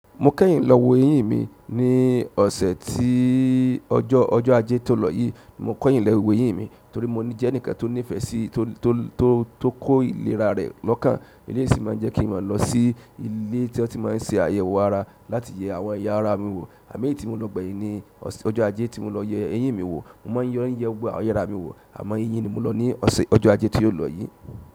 Mo kẹ́yin lọ wo eyín mi ní ọ̀sẹ̀ tí ọjọ́, ọjọ́ ajé tó lọ yìí. Mo kẹ́yin lọ wo eyín mi torí mo ní jẹ́ ẹnikan tó ní ìfẹ́ sí, tó, tó, tó kó ìléra rẹ̀ lọ́kàn. Eleyii sì máa ń jẹ́ kí n máa lọ sí ilé tí wọ́n ti máa ń ṣe àyẹ̀wò ara láti yẹ àwọn ẹ̀ya ara mi wò. Ẹ̀'meji tí mo lọ gbẹ̀yìn ni ọ̀sẹ̀, ọjọ́ ajé tí mo lọ yẹ eyín mi wò. Mo máa ń lọ yẹ àwọn ẹ̀yà ara mi wò àmọ́ eyín ni mo lọ ní ọ̀sẹ̀ ọjọ́ ajé tí ó lọ yìí.